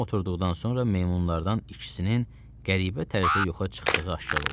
Hamı oturduqdan sonra meymunlardan ikisinin qəribə tərzdə yuxa çıxdığı aşkar oldu.